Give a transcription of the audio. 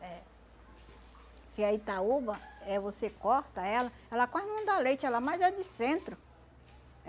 Que a Itaúba, eh você corta ela, ela quase não dá leite, ela mais é de centro.